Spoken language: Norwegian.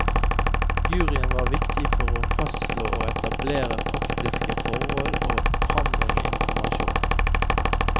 Juryen var viktig for å fastslå og å etablere faktiske forhold og å frambringe informasjon.